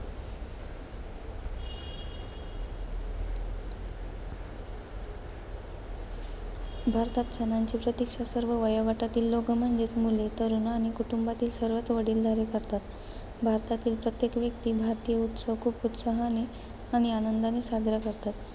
भारतात, सणांची प्रतीक्षा सर्व वयोगटातील लोकं म्हणजेचं मुले, तरुण आणि कुटुंबातील सर्वच वडिलधारे करतात. भारतातील प्रत्येक व्यक्ती भारतीय उत्सव खूप उत्साहाने आणि आनंदाने साजरे करतात.